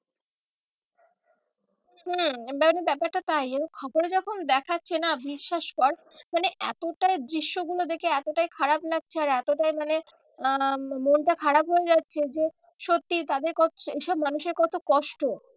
হম ব্যাপারটা খবরে যখন দেখাচ্ছে না বিশ্বাস কর মানে এতটা দৃশ্য গুলো দেখে এতটাই খারাপ লাগছে আর এতটাই মানে আহ মনটা খারাপ হয়ে যাচ্ছে যে সত্যি তাদের সেই সব মানুষের কত কষ্ট